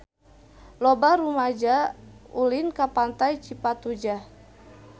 Loba rumaja ulin ka Pantai Cipatujah